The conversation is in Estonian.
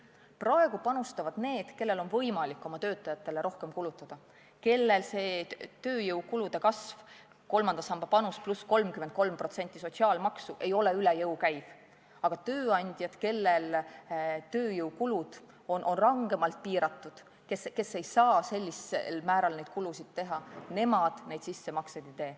Praegu panustavad need, kellel on võimalik oma töötajatele rohkem kulutada, kellele see tööjõukulude kasv – kolmanda samba panus pluss 33% sotsiaalmaksu – ei käi üle jõu, aga tööandjad, kellel tööjõukulud on rangemalt piiratud, kes ei saa sellisel määral neid kulutusi teha, neid sissemakseid ei tee.